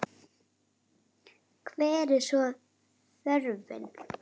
Hver er svo þörfin?